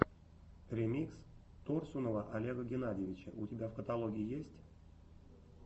ремикс торсунова олега геннадьевича у тебя в каталоге есть